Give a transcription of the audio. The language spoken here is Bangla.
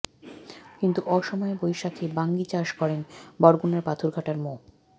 কিন্তু অসময়ে বৈশাখে বাঙ্গি চাষ করেন বরগুনার পাথরঘাটার মো